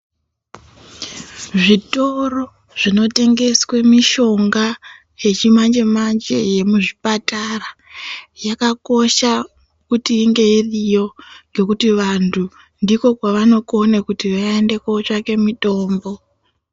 Zvitoro zvinotengeswe mishonga yechi manje -manje yemuzvipatara yakakosha kuti kunge iriyo ngekuti vantu ndiko kwavanokona kuti vaende kundotsvake mitombo.